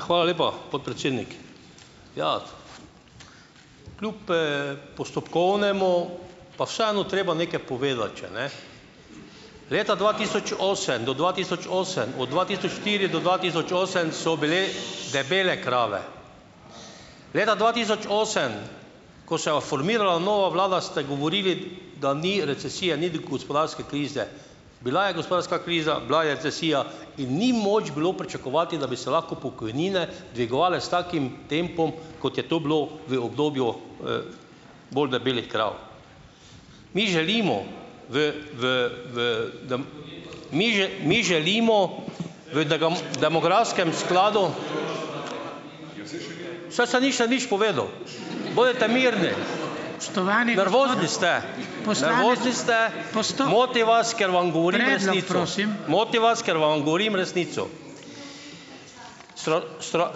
Hvala lepa, podpredsednik! Ja, kljub, postopkovnemu, pa vseeno treba nekaj povedati še, ne? Leta dva tisoč osem do dva tisoč osem, od dva tisoč štiri do dva tisoč osem so bile debele krave. Leta dva tisoč osem, ko se je formirala nova vlada, ste govorili, da ni recesije, ni gospodarske krize. Bila je gospodarska kriza, bila je recesija in ni moč bilo pričakovati, da bi se lahko pokojnine dvigovale s takim tempom, kot je to bilo v obdobju, bolj debelih krav. Mi želimo v v v mi mi želimo v demografskem skladu saj še nisem nič povedal, bodite mirni ... Moti vas, ker vam govorim resnico.